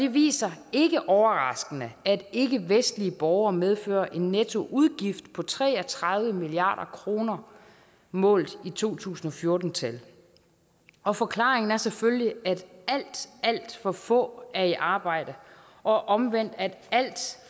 viser ikke overraskende at ikkevestlige borgere medfører en nettoudgift på tre og tredive milliard kroner målt i to tusind og fjorten tal og forklaringen er selvfølgelig at alt alt for få er i arbejde og omvendt at alt